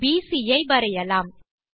will பிசி ஐ வரையலாம்